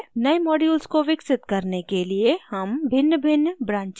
नए modules को विकसित करने के लिए हम भिन्नभिन्न branches उपयोग करते हैं